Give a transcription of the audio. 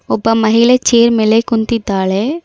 ಒಬ್ಬ ಮಹಿಕೆ ಚೇರ್ ಮೇಲೆ ಕುಂತಿದ್ದಾಳೆ.